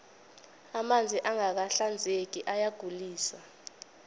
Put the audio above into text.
amanzi angaka hinzeki ayagulise